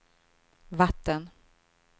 vatten